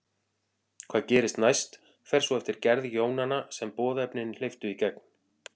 Hvað gerist næst fer svo eftir gerð jónanna sem boðefnin hleyptu í gegn.